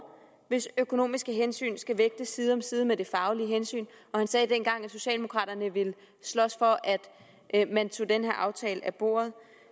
hvis økonomiske hensyn skal vægtes side om side med de faglige hensyn og han sagde dengang at socialdemokraterne ville slås for at man tog den her aftale af bordet